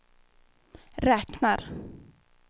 räknar